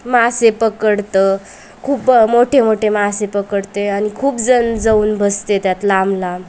मासे पकडत खूप अ मोठे मोठे मासे पकडते आणि खूप जन जाऊन बसते त्यात लांब लांब --